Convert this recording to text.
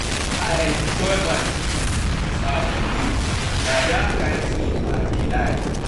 I enjoy my sleep dis afternoon, na dat kin sleep I dey like